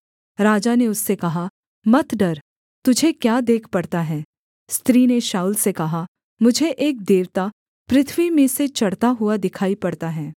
राजा ने उससे कहा मत डर तुझे क्या देख पड़ता है स्त्री ने शाऊल से कहा मुझे एक देवता पृथ्वी में से चढ़ता हुआ दिखाई पड़ता है